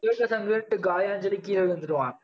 காயான்னு சொல்லி, கீழே விழுந்திருவான்.